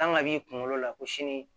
Kan ka b'i kunkolo la ko sini